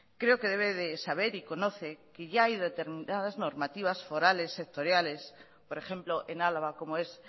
creo que debe de saber y conoce que ya hay determinadas normativas forales sectoriales por ejemplo en álava como es